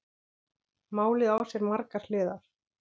Málið á sér margar hliðar.